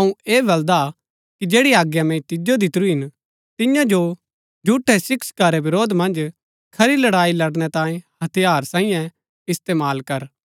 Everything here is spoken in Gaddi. अऊँ ऐह बलदा कि जैड़ी आज्ञा मैंई तिजो दितुरी हिन तिन्या जो झूठै शिक्षका रै विरोध मन्ज खरी लड़ाई लड़नै तांये हथियार सांईयै इस्तेमाल कर